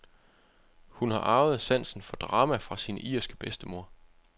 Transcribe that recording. Hun har arvet sansen for drama fra sin irske bedstemor.